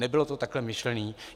Nebylo to takhle myšleno.